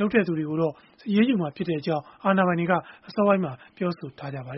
လုပ်တဲ့သူတွေကိုတော့ အရေးယူမှာဖြစ်ကြောင်း အာဏာပိုင်တွေက အစောပိုင်းမှာ ပြောဆိုထားပါ